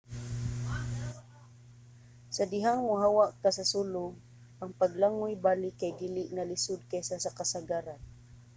sa dihang mohawa ka sa sulog ang paglangoy balik kay dili na lisod kaysa sa kasagaran